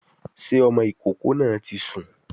Sé ọmọ ìkókó náà ti sùn?